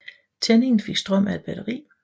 Tændingen fik strøm af et batteri